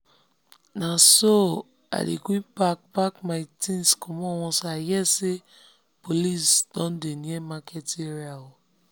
na so i dey quick pack pack my things commot once i hear say police don dey near market area.